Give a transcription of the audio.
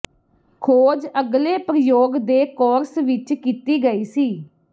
ਖੋਜ ਅਗਲੇ ਪ੍ਰਯੋਗ ਦੇ ਕੋਰਸ ਵਿੱਚ ਕੀਤੀ ਗਈ ਸੀ